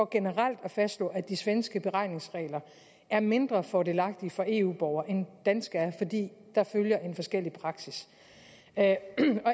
generelt at fastslå at de svenske beregningsregler er mindre fordelagtige for eu borgere end danske er fordi der følger en forskellig praksis